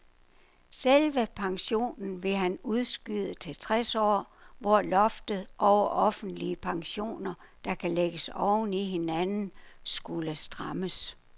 Selve pensionen ville han udskyde til tres år, hvor loftet over offentlige pensioner, der kan lægges oven i hinanden, skulle strammes.